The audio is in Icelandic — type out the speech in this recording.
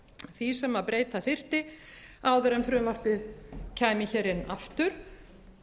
því sem breyta þyrfti áður en frumvarpið kæmi hér inn aftur